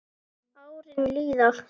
Árin líða.